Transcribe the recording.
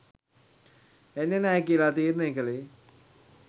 එන්නෙ නෑ කියලා තීරණේ කළේ.